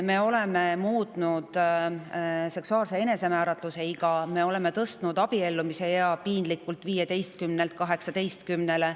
Me oleme muutnud seksuaalse enesemääratluse iga ja me oleme tõstnud abiellumise ea piinlikult 15 aastalt 18 aastale.